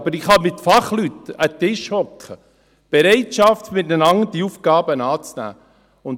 Aber ich kann mich mit Fachleuten an einen Tisch setzen, mit der Bereitschaft, dass man sich miteinander dieser Aufgaben annimmt.